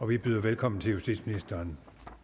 vi byder velkommen til justitsministeren